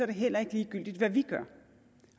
det heller ikke ligegyldigt hvad vi gør